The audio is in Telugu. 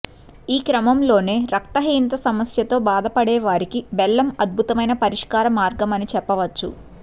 ఈక్రమంలోనే రక్తహీనత సమస్యతో బాధపడే వారికి బెల్లం అద్భుతమైన పరిష్కార మార్గం అని చెప్పవచ్చు